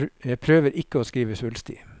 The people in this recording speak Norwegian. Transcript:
Jeg prøver ikke å skrive svulstig.